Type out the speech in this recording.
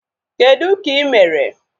Kedụ ka ị mere?